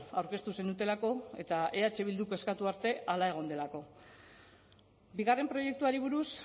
aurkeztu zenutelako eta eh bilduk eskatu arte hala egon delako bigarren proiektuari buruz